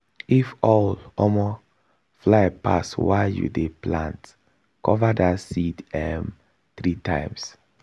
if owl um fly pass while you dey plant cover that seed um three times.